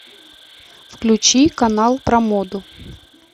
включи канал про моду